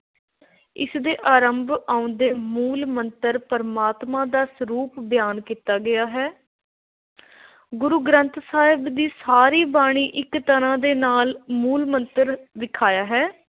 ਇਸ ਦੇ ਆਰੰਭ ਵਿਚ ਆਉਂਦੇ ਮੂਲ – ਮੰਤਰ ਪਰਮਾਤਮਾ ਦਾ ਸਰੂਪ ਬਿਆਨ ਕੀਤਾ ਗਿਆ ਹੈ। ਗੁਰੂ ਗ੍ਰੰਥ ਸਾਹਿਬ ਦੀ ਸਾਰੀ ਬਾਣੀ ਇਕ ਤਰ੍ਹਾਂ ਨਾਲ ਮੂਲ – ਮੰਤਰ ਵਿਆਖਿਆ ਹੈ ।‘